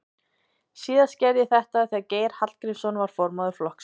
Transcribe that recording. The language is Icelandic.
Síðast gerði ég þetta þegar Geir Hallgrímsson var formaður flokksins.